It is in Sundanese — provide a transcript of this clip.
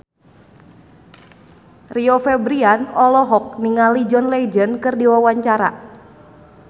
Rio Febrian olohok ningali John Legend keur diwawancara